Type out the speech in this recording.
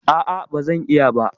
A'a, ba zan iya ba.